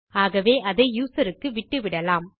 ஆகவே அதை யூசர் க்கு விட்டுவிட்டலாம்